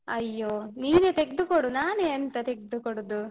ಅಯ್ಯೋ, ನೀನೆ ತೆಗ್ದುಕೊಡು ನಾನೆ ಎಂತ ತೆಗ್ದುಕೊಡುದು.